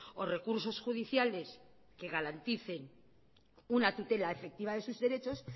o recursos judiciales que garanticen una tutela efectiva de sus derechos